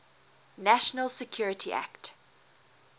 national security act